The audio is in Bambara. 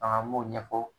an b'o ɲɛfɔ